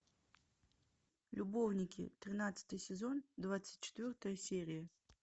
любовники тринадцатый сезон двадцать четвертая серия